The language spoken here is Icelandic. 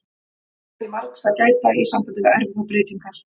Það er því margs að gæta í sambandi við erfðabreytingar.